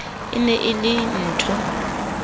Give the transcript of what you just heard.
e ne e le nthho